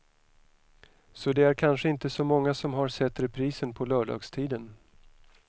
Så det är kanske inte så många som har sett reprisen på lördagstiden.